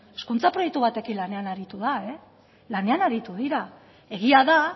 hezkuntza proiektu batekin lanean aritu da lanean aritu dira egia da